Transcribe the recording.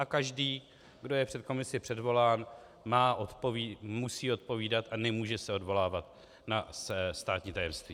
A každý, kdo je před komisi předvolán, musí odpovídat a nemůže se odvolávat na státní tajemství.